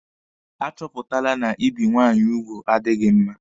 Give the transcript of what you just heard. A chọpụtala na ibi nwaanyị ugwu adịghị mma.